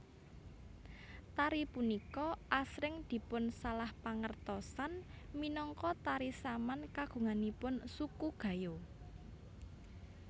Tari punika asring dipunsalahpangertosan minangka tari Saman kagunganipun suku Gayo